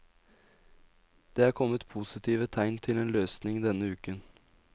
Det er kommet positive tegn til en løsning denne uken.